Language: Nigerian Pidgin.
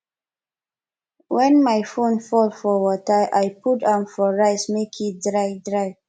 wen my phone fall for water i put am for rice make e dry dry